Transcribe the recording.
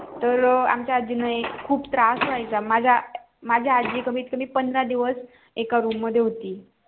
तर आमच्या आजी ना खूप त्रास होयचा माझ्या आजी कमीत कमी पंधरा दिवस एका room मध्ये होती.